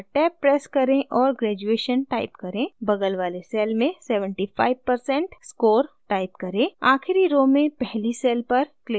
अतः tab press करें और graduation type करें बगल वाले cell में 75% score type करें आखिरी so में पहली cell पर क्लिक करें post graduation 70% type करें